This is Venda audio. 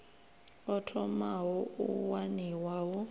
o thomaho u waniwa hu